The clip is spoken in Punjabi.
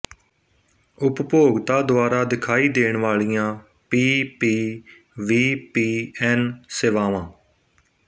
ਉਪਭੋਗਤਾ ਦੁਆਰਾ ਦਿਖਾਈ ਦੇਣ ਵਾਲੀਆਂ P P V P N ਸੇਵਾਵਾਂ